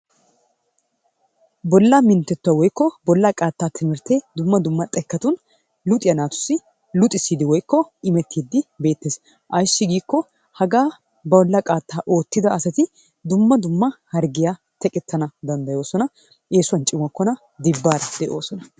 Bollaa minttetuwaa woikko bollaa qattaa timirttee dumma dumma xekkatun luxxiya naatussi luxxissidi woikko imettidi beettees. Ayssi giikko hagaa bollaa qaattaa oottida asati dumma dumma harggiya teqqetana dandayoosona, essuwan cimmokkona, dibbara deeoosona.